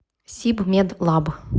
сибмедлаб